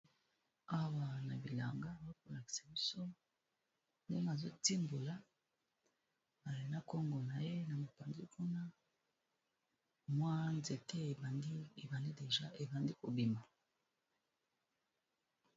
Awa na bilanga bakolakisa biso nde mazotimbola balona congo na ye na mopanzi kuna mwa nzeke ebani ebandi deja ebandi kobima.